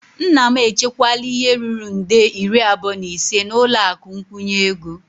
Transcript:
Nna m echekwala ihe ruru nde iri abụọ na ise n'ụlọ akụ nkwụnye ego.